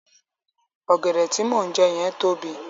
Ọ̀gẹ̀dẹ̀ tí mò ń jẹ yẹn tóbi.